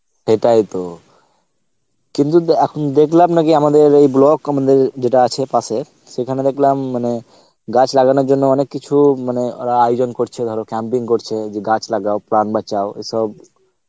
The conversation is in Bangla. সেটাই তো, কিন্তু দে~ এখন দেখলাম নাকি আমাদের এই block আমাদের যেটা আছে পাসে সেখানে দেখলাম মানে গাছ লাগানোর জন্য অনেক কিছু মানে ওরা আয়োজন করছে ধরো camping করছে যে গাছ লাগাও প্রাণ বাচাও এসব